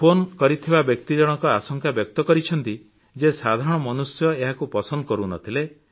ସେହି ଫୋନ କରିଥିବା ବ୍ୟକ୍ତି ଜଣକ ଆଶଙ୍କା ବ୍ୟକ୍ତ କରିଛନ୍ତି ଯେ ସାଧାରଣ ମନୁଷ୍ୟ ଏହାକୁ ପସନ୍ଦ କରୁନଥିଲେ